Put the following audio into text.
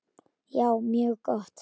Já, mjög gott.